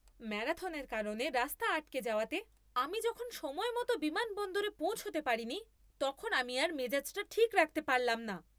ম্যারাথনের কারণে রাস্তা আটকে যাওয়াতে আমি যখন সময়মতো বিমানবন্দরে পৌঁছাতে পারিনি তখন আমি আর মেজাজটা ঠিক রাখতে পারলাম না!